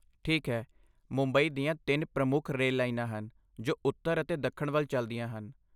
ਠੀਕ ਹੈ, ਮੁੰਬਈ ਦੀਆਂ ਤਿੰਨ ਪ੍ਰਮੁੱਖ ਰੇਲ ਲਾਈਨਾਂ ਹਨ ਜੋ ਉੱਤਰ ਅਤੇ ਦੱਖਣ ਵੱਲ ਚਲਦੀਆਂ ਹਨ।